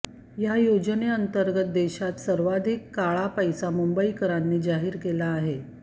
या योजनेअंर्तगत देशात सर्वाधिक काळा पैसा मुंबईकरांनी जाहीर केला आहे